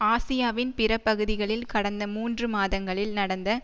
ஆசியாவின் பிற பகுதிகளில் கடந்த மூன்று மாதங்களில் நடந்த